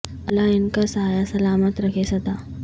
اللہ ان کا سا یہ سلا مت رکھے سد ا